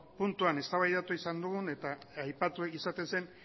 puntuan eztabaidatu izan dugu eta aipatu ohi izaten zen